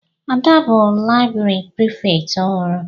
Ada bụ laịbrị Prịfèkt ọhụrụ.